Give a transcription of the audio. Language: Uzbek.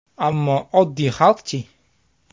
Ammo oddiy xalqchi?